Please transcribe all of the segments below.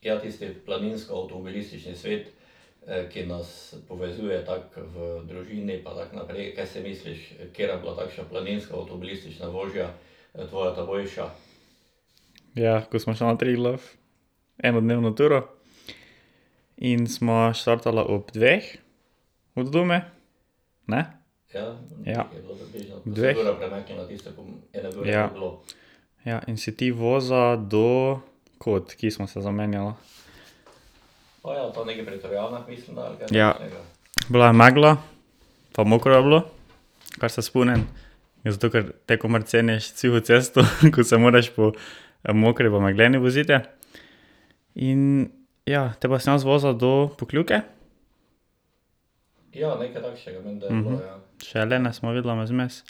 Ja, ko sva šla na Triglav enodnevno turo in sva štartala ob dveh od doma, ne? Ja. Dveh ... Ja. Ja, in si ti vozil do kod, ki sva se zamenjala? Bila je megla pa mokro je bilo, kar se spomnim. Zato ker te komaj ceniš suho cesto, ko se moraš po mokri pa megleni voziti. In ja, potem pa sem jaz vozil do Pokljuke. Še jelene sva videla mezmes. ...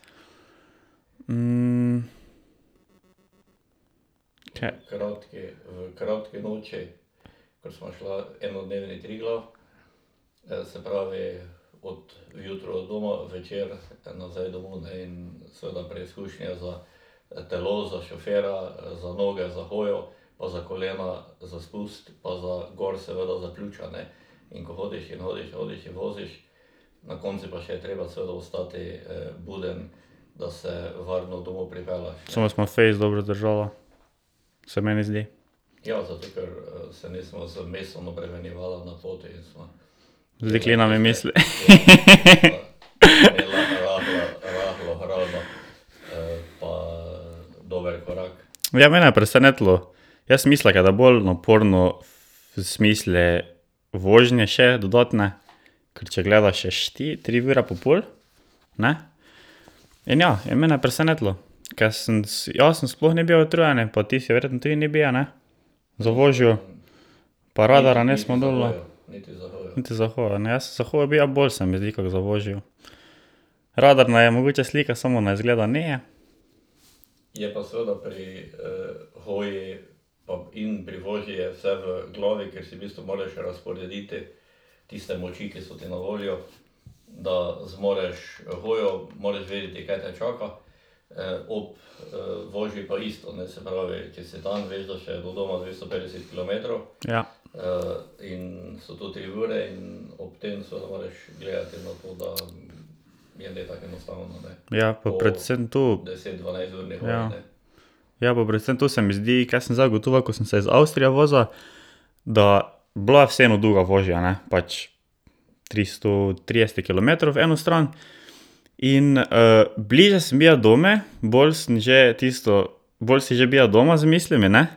Samo sva fejst dobro zdržala, se meni zdi. Z deklinami v misli. Ja, mene je presenetilo. Jaz sem mislil, ke da bolj naporno v smislu vožnje še dodatne. Ker če gledaš, je tri ure pa pol, ne, in ja, je mene presenetilo. Ko jaz sem sploh ne bil utrujen, pa ti si verjetno tudi ne bil, ne. Za vožnjo. Pa radarja nisva dobila. Niti za hojo ne, jaz sem za hojo bil bolj, se mi zdi, kak za vožnjo. Radar naju je mogoče slikal, samo nas izgleda ni. Ja. Ja, pa predvsem to ... Ja, pa predvsem to se mi zdi, ka sem zdaj ugotovil, ko sem se iz Avstrije vozil, da bila je vseeno dolga vožnja, ne, pač tristo trideset kilometrov v eno stran. In bliže sem bil domu, bolj sem že tisto, bolj si že bil doma z mislimi, ne.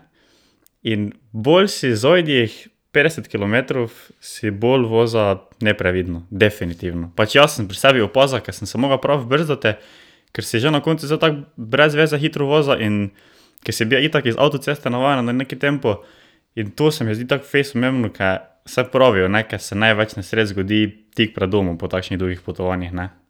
In bolj si zadnjih petdeset kilometrov si bolj vozil neprevidno, definitivno. Pač jaz sem pri sebi opazil, ke sem se mogel prav brzdati, ker si že na koncu zdaj tako brez veze hitro vozil in ke si bil itak iz avtoceste navajen na neki tempo, in to se mi zdi tako fejst pomembno, ke saj pravijo, ne, ker se največ nesreč zgodi tik pred domom po takšnih dolgih potovanjih, ne.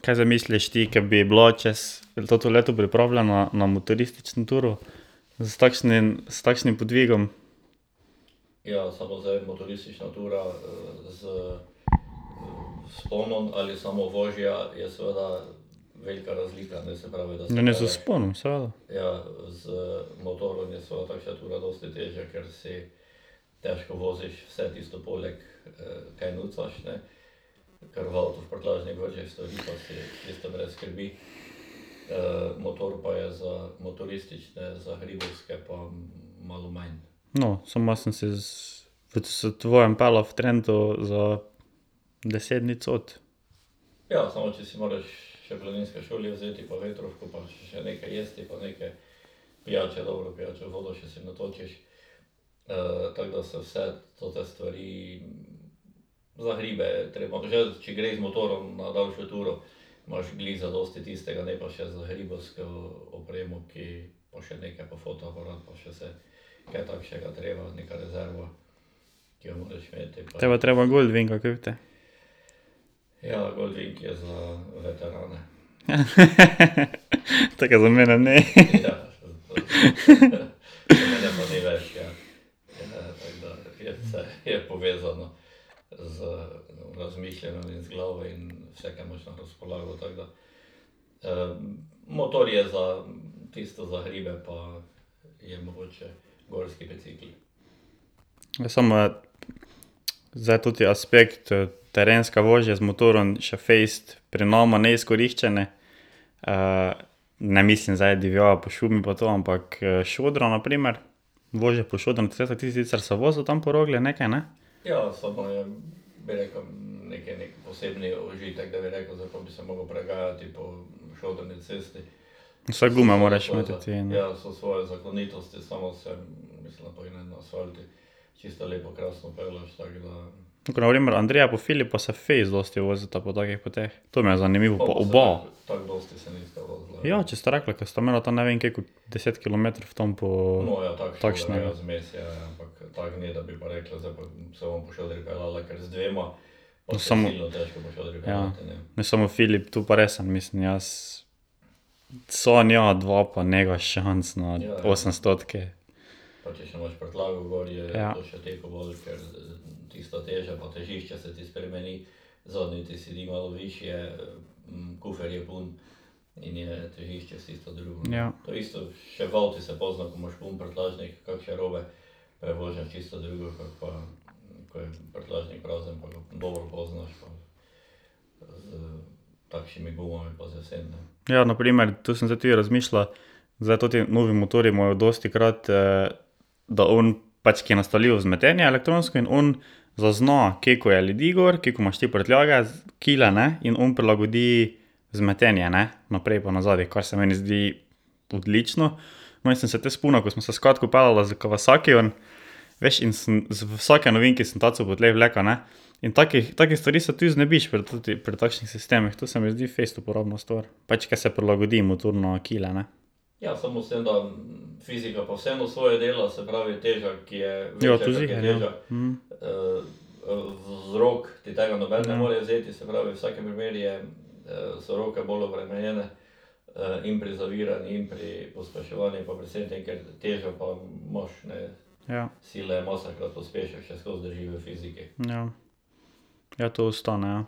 Kaj zdaj misliš ti, ke bi bila čez to leto pripravljena na motoristično turo s takšnim, s takšnim podvigom? Ma ne, z vzponom, seveda ... No, samo jaz sem se s, s tvojim peljal v Trento za deset dni cot. Te pa treba Gold Winga kupite. To, ka za mene ni. Samo je zdaj toti aspekt terenske vožnje z motorjem še fejst pri nama neizkoriščene. ne mislim zdaj divjava po šumi pa to, ampak šodra, na primer. Vožnja po šodrancu, saj si ti sicer se vozil tam po Rogli nekaj, ne? Vsaj gume moraš imeti tudi, ne ... pa Filipa se fejst dosti vozita po takih poteh, to mi je zanimivo. Pa oba. Ja, če sta rekla, ke sta imela tam ne vem koliko deset kilometrov tam po ... Ne, samo Filip tu pa resno, mislim jaz sam ja, dva pa ni šans na osemstotki. Ja, na primer, tu sem zdaj tudi razmišljal, zdaj toti novi motorji imajo dostikrat, da on, pač ki je nastavljivo vzmetenje elektronsko, in on zazna, koliko je ljudi gor, koliko imaš ti prtljage z, kile ne, in on prilagodi vzmetenje, ne, naprej pa nazadi, kar se meni zdi odlično. No, in sem se te spomnil, ko sva se s Katko peljala s Kawasakijem, veš, in sem z vsakim ovinkom sem taco po tleh vlekel, ne. In take stvari so tudi znebiš pri pri takšnih sistemih. To se mi zdi fejst uporabna stvar. Pač ker se prilagodi motor na kile, ne. Ja. Ja. Ja, to ostane, ja.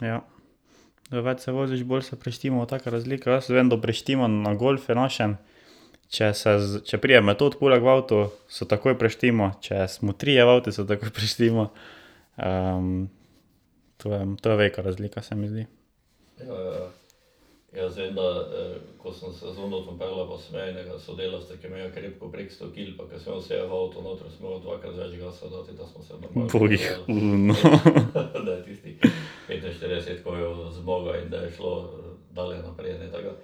Ja. Več se voziš, bolj se prištimajo take razlike. Jaz vem, da prištimam na golfu našem, če se če pride Metod poleg v avto, se takoj prištima, če smo trije v avtu, se takoj preštima. to je, to je velika razlika, se mi zdi. Bogih oni, no.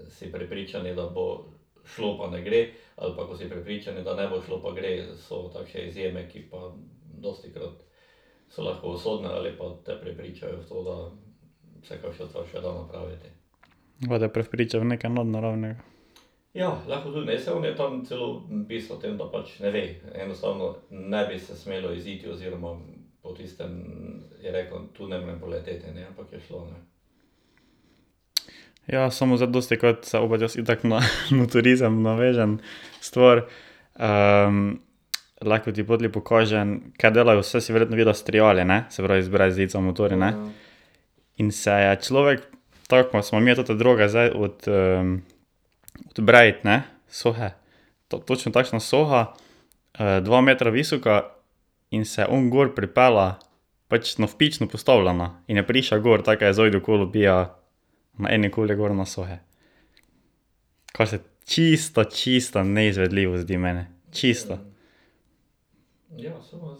Pa te prepričajo v nekaj nadnaravnega. Ja, samo zdaj dostikrat se opet jaz itak na motorizem navežem stvar. lahko ti potlej pokažem, kaj delajo. Saj si verjetno videl s triali, ne? Se pravi, z brez zica motorji, ne. In se je človek, tako ko sva midva te droge zdaj od od brajd ne, sohe. Točno takšna soha, dva metra visoka in se on gor pripelje, pač navpično postavljena. In je prišel gor, tako ke je z zajdo kolo bil na eni koli gor na sohe. Ka se čisto, čisto neizvedljivo zdi meni. Čisto. Samo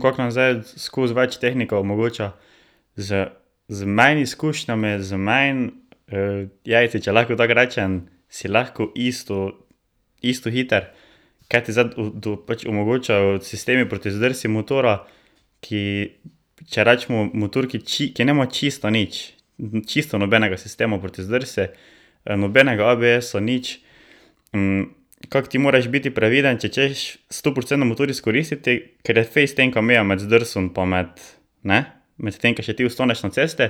kako nam zdaj skoz več tehnika omogoča. Z z manj izkušnjami, z manj jajci, če lahko tako rečem, si lahko isto, isto hiter. Kaj ti zdaj pač omogočajo sistemi proti zdrsu motorja, ki, če recimo motor, ki ki nima čisto nič, čisto nobenega sistema proti zdrsu, nobenega ABS-a, nič. kako ti moraš biti previden, če hočeš stoprocentno motor izkoristiti, ker je fejst tenka meja med zdrsom pa med ... Ne, medtem ko še ti ostaneš na cesti.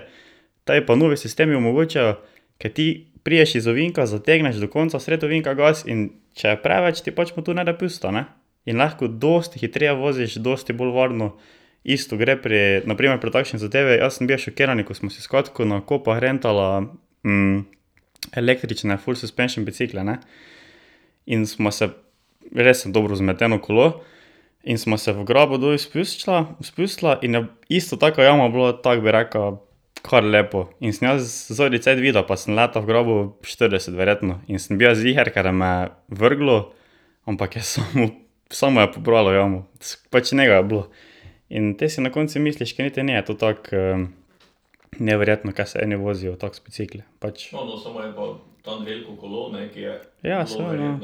Tebi pa novi sistemi omogočajo, ke ti prideš iz ovinka, zategneš do konca sredi ovinka gas, in če je preveč, ti pač motor ne da pusta, ne. In lahko dosti hitreje voziš, dosti bolj varno. Isto gre na primer pri takšni zadevi, jaz sem bil šokiran, ko sva si s Katko na Kopah rentala električne full suspension bicikle, ne. In sva se, resno dobro vzmeteno kolo, in sva se v grabo dol spustila, spustila in je isto taka jama bila, tako bi rekel, kar lepo. In sem jaz zadnji cajt videl, pa sem letel v grabo štirideset verjetno in sem bil ziher, ka da me vrglo, ampak je samo, samo je pobralo jamo. Pač nega je bilo. In potem si na koncu misliš, ka niti ni to tako neverjetno, kaj se eni vozijo tako s bicikli, pač. Ja, seveda.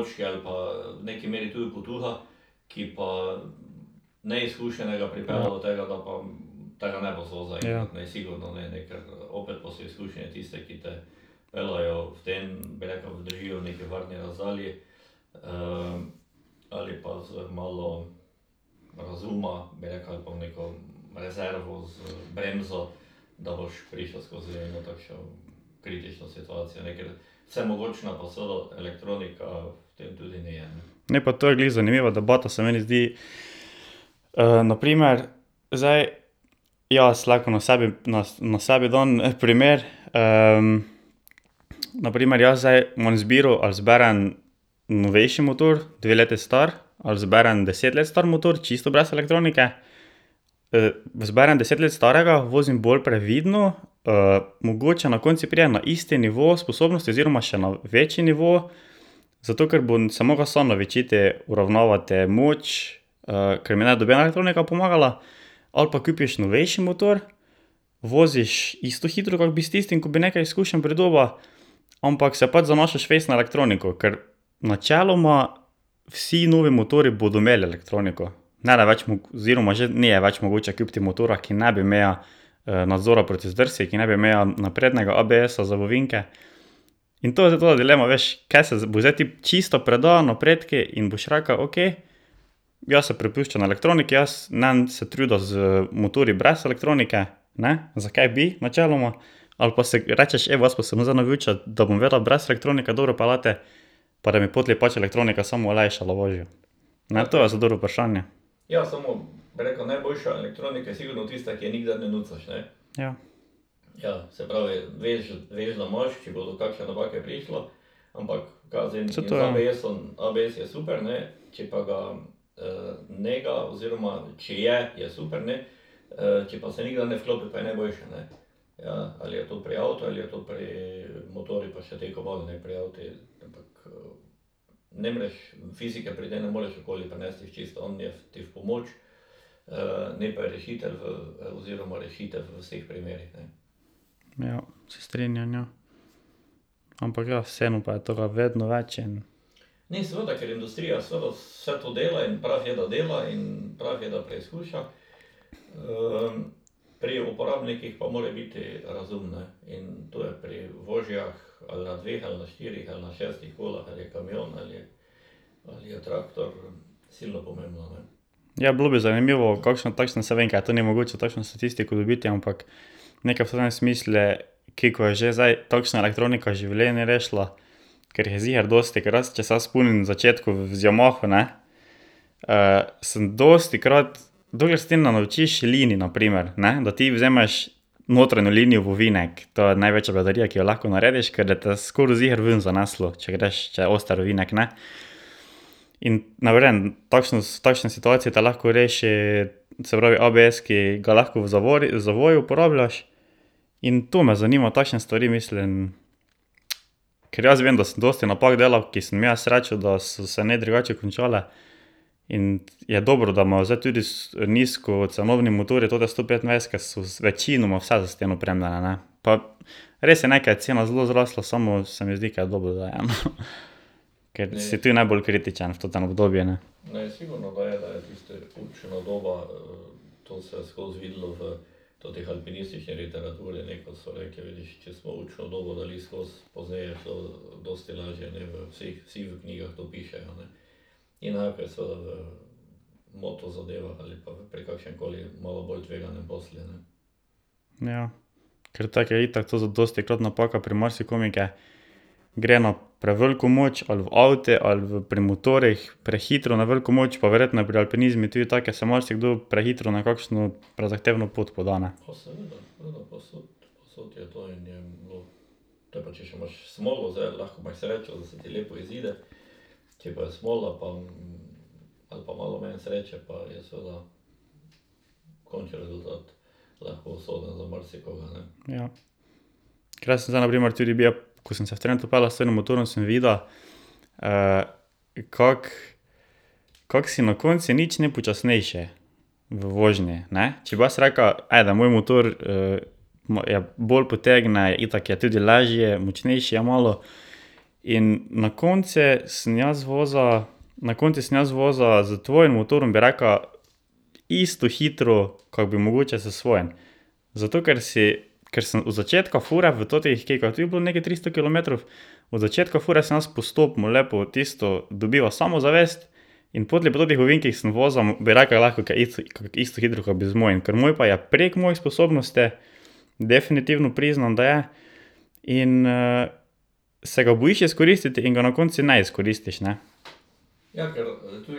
Ne, to te vrže, ja. Ne, pa to je glih zanimiva debata, se meni zdi. na primer zdaj jaz lahko na sebi na na sebi dan en primer, na primer, jaz zdaj imam izbiro, ali izberem novejši motor, dve leti star, ali izberem deset let star motor, čisto brez elektronike. izberem deset let starega, vozim bolj previdno. mogoče na koncu pridem na isti nivo sposobnosti oziroma še na večji nivo, zato ker bom se mogel sam naučiti uravnavati moč, ker mi ne nobena elektronika pomagala, ali pa kupiš novejši motor, voziš isto hitro, kak bi s tistim, bo bi nekaj izkušenj pridobil, ampak se pač zanašaš fejst na elektroniko, ker načeloma vsi novi motorji bodo imeli elektroniko. Nede več oziroma že ni več mogoče kupiti motorja, ki ne bi imel nadzora proti zdrsu, ki ne bi imel naprednega ABS-a za v ovinke. In to je zdaj tvoja dilema, veš, ke se boš zdaj ti čista predal napredku in boš rekel, okej, jaz se prepuščam elektroniki, jaz ne bom se trudil z motorji brez elektronike, ne, zakaj bi, načeloma. Ali pa si rečeš: "Evo, jaz pa se bom zdaj naučil, da bom vedel brez elektronike dobro peljati pa da mi potlej pač elektronika samo olajšala vožnjo." Ne, to je zdaj dobro vprašanje. Ja. Ja, se strinjam, ja. Ampak ja, vseeno pa je tega vedno več in ... Ja, bilo bi zanimivo kakšna takšna, saj vem, ka je to nemogoče takšno statistiko dobiti, ampak nekaj v totem smislu, koliko je že zdaj takšna elektronika življenj rešila, ker jih je ziher dosti. Ker jaz, če se jaz spomnim v začetku z Yamaho, ne, sem dostikrat, dokler se ti ne naučiš linij, na primer, ne, da ti vzameš notranjo linijo v ovinek. To je največja bedarija, ki jo lahko narediš, ker bo te skoraj ziher vun zaneslo, če greš, če je oster ovinek, ne. In na primer, takšno, s takšne situacije te lahko reši, se pravi ABS, ki ga lahko v zavori, zavoju uporabljaš. In to me zanima, takšne stvari mislim, ker jaz vem, da sem dosti napak delal, ki sem imel srečo, da so se ne drugače končale. In je dobro, da imajo zdaj tudi nizkocenovni motorji, tote stopetindvajsetke so večinoma vse s tem opremljene, ne. Pa ... Res je, ne, ka je cena zelo zrasla, samo se mi zdi, ka je dobro, da je, no. Ker si ti najbolj kritičen v totem obdobju, ne. Ja. Ker tako je itak to dostikrat napaka pri marsikom, ke gre na preveliko moč, ali v avti ali v pri motorjih, prehitro na veliko moč, pa verjetno je pri alpinizmu tudi tako, ke se marsikdo prehitro na kakšno prezahtevno pot poda, ne. Ja. Ker jaz sem zdaj na primer tudi bil, ko sem se v Trento peljal s totim motorjem, sem videl, kako, kako si na koncu nič ne počasnejši v vožnji, ne. Če pa jaz rekel: "Ajde, moj motor bolj potegne, itak je tudi lažji, močnejši je malo." In na koncu sem jaz vozil, na koncu sem jaz vozil s tvojim motorjem, bi rekel, isto hitro, kak bi mogoče s svojim. Zato ker si, ker sem od začetka fure v totih, koliko je tudi bilo neka tristo kilometrov. Od začetka fure sem jaz postopno lepo tisto dobival samozavest in potlej po teh ovinkih sem vozil, bi rekel, lahko isto hitro, kak bi z mojim. Ker moj pa je prek mojih sposobnosti, definitivno priznam, da je, in se ga bojiš izkoristiti in ga na koncu ne izkoristiš, ne. Zakaj? Ja. Tudi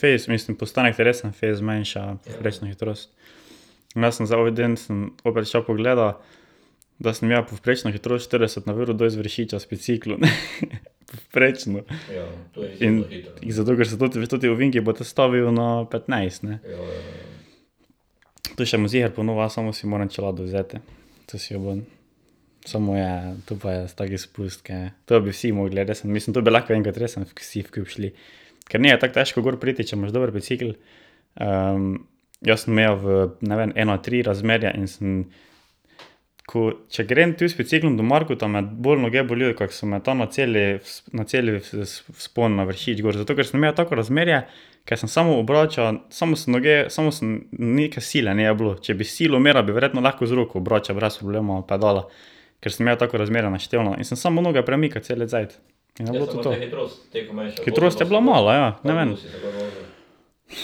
fejst, mislim, postanek ti resno fejst zmanjša povprečno hitrost. Jaz sem zdaj ovi dan sem opet šel pogledat, da sem imel povprečno hitrost štirideset na uro dol z Vršiča z biciklom. Povprečno. In zato ker so v totih ovinkih stavijo na petnajst, ne. To še bom ziher ponovil, samo si moram čelado vzeti. To si jo bom. Samo je, to pa je tak spust, ke to bi vsi mogli, resno mislim, to bi lahko enkrat resno vsi skupaj šli. Ker ni tako težko gor priti, če imaš dober bicikel. jaz sem imel v ne vem ena-tri razmerje in sem, ko če grem tu z biciklom do Markota, me bolj noge bolijo, kak so me tam na celi, na cel vzpon na Vršič gor, zato ker sem imel tako razmerje, ka sem samo obračal, samo sem noge, samo sem neke sile ni bilo. Če bi silo mera, bi verjetno lahko z roko obračal brez problema pedala, ker sem imel tako razmerje naštelano in sem samo noge premikal cel cajt.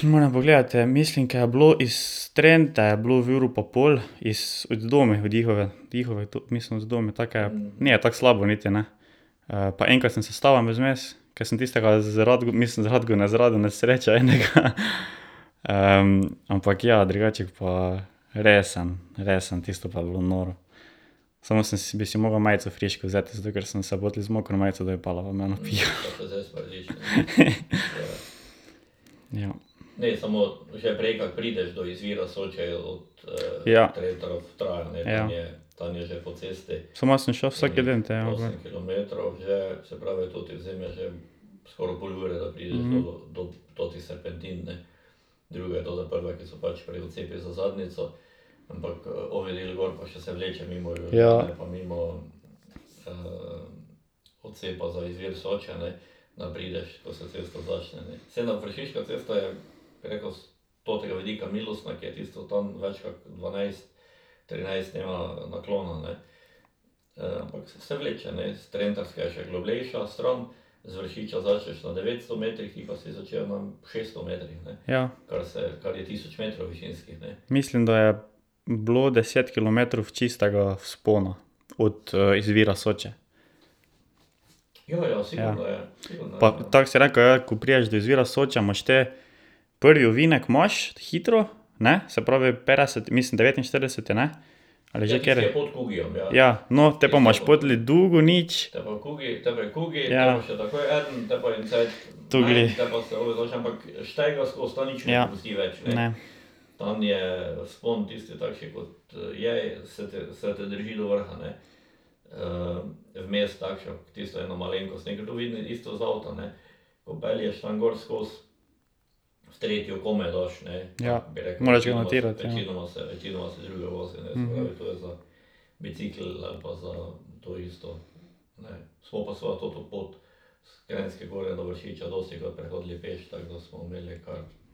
Moram pogledati. Mislim, ke je bilo iz Trente je bilo uro pa pol, iz, od doma dihov, to mislim od doma, tak ke ni tako slabo niti, ne. pa enkrat sem se ustavil mezmes, ke sem tistega z mislim z Radgone, z Radonec srečal enega. ampak ja, drugače pa resno, resno tisto pa je bilo noro. Samo bi si mogel majico frišno vzeti, zato ker sem se potlej z mokro majico dol peljal, pa me je napihalo. Ja. Mislim, da je bilo deset kilometrov čistega vzpona. Od izvira Soče. Pa tako si rekel, ja, ko prideš do izvira Soče, imaš te prvi ovinek imaš hitro, ne, se pravi petdeset, mislim devetinštirideseti, ne. Ali že kateri? Ja, no, potem pa imaš potlej dolgo nič.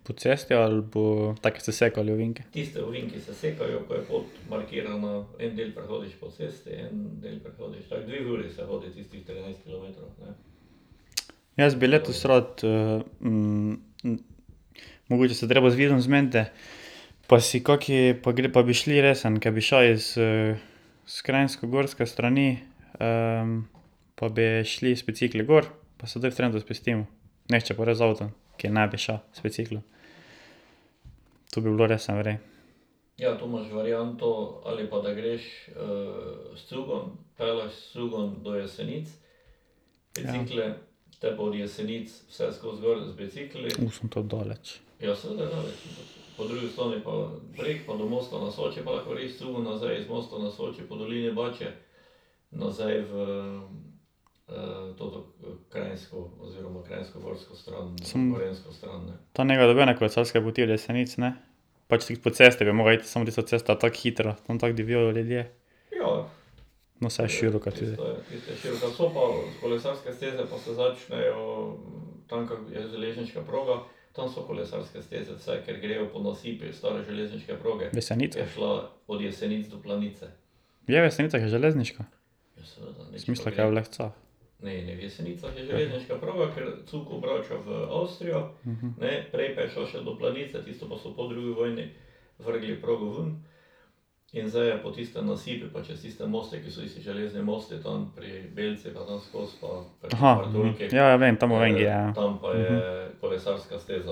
Po cesti ali po ... tako ste sekali ovinke? Jaz bi letos rad mogoče se je treba z zmeniti. Pa si kak, pa pa bi šli resno. Ke bi šel iz, s kranjskogorske strani, pa bi šli z bicikli gor pa se dol v Trento spustimo. Nihče pa gre z avtom, ki ne bi šel z biciklom. To bi bilo resno v redu. in to daleč. Tam ni nobene kolesarske poti do Jesenic, ne? Pač glih po cesti bi mogel iti, samo tista cesta je tako hitra, tam tako divjajo ljudje. No, saj široka je tudi. V Jesenicah? Je, v Jesenicah je železniška? Sem mislil, ka je v Lescah.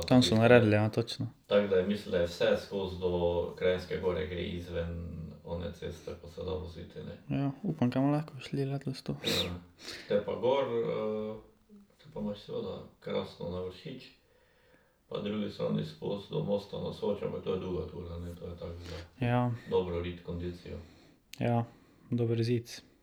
Tam so naredili ja, točno. Ja. Upam, ke bomo lahko šli letos to. Ja. Ja. Dober zic.